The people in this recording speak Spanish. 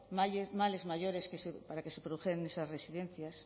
males mayores se produjeran en esas residencias